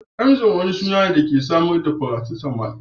Emzor wani suna ne da ke samar da paracetamol.